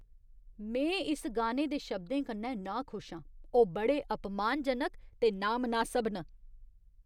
में इस गाने दे शब्दें कन्नै नाखुश आं। ओह् बड़े अपमानजनक ते नामनासब न।